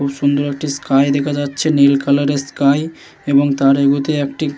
খুব সুন্দর একটি স্কাই দেখা যাচ্ছে। নীল কালারের স্কাই এবং তার এগুতে একটি।